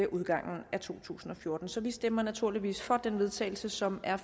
udgangen af to tusind og fjorten så vi stemmer naturligvis for det vedtagelse som er